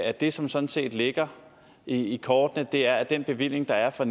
at det som sådan set ligger i kortene er at den bevilling der er for